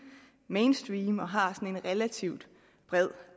mainstream og har en relativt bred